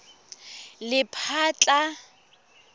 lephatla